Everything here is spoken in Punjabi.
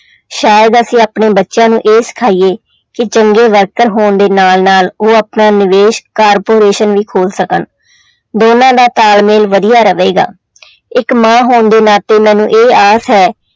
ਸ਼ਾਇਦ ਅਸੀਂ ਆਪਣੇ ਬੱਚਿਆਂ ਨੂੰ ਇਹ ਸਿਖਾਈਏ ਕਿ ਚੰਗੇ ਵਰਕਰ ਹੋਣ ਦੇ ਨਾਲ ਨਾਲ ਉਹ ਆਪਣਾ ਨਿਵੇਸ corporation ਵੀ ਖੋਲ ਸਕਣ, ਦੋਨਾਂ ਦਾ ਤਾਲਮੇਲ ਵਧੀਆ ਰਵੇਗਾ ਇੱਕ ਮਾਂ ਹੋਣ ਦੇ ਨਾਤੇ ਮੈਨੂੰ ਇਹ ਆਸ ਹੈ